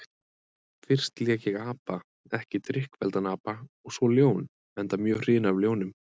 Fyrst lék ég apa, ekki drykkfelldan apa, og svo ljón, enda mjög hrifinn af ljónum.